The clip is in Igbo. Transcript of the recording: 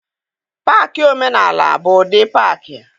Paakị omenaala bụ ụdị paakị.